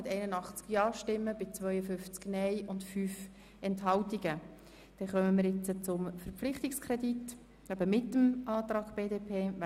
Somit stimmen wir nun über den Objektkredit inklusive den Antrag BDP ab.